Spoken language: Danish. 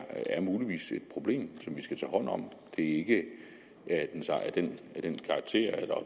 muligvis er et problem som vi skal tage hånd om det er ikke af